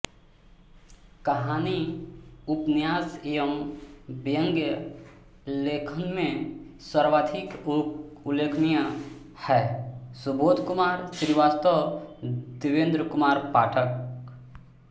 कहानी उपन्यास एवँ व्यंग्य लेखन में सर्वाधिक उल्लेखनीय हैँ सुबोधकुमार श्रीवास्तव देवेन्द्र कुमार पाठक